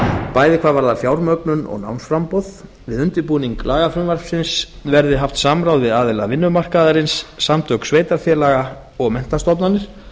bæði hvað varðar fjármögnun og námsframboð við undirbúning lagafrumvarpsins verði haft samráð við aðila vinnumarkaðarins samtök sveitarfélaga og menntastofnanir